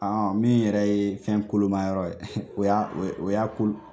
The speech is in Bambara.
Min yɛrɛ ye fɛn kolomayɔrɔ ye o y'a ko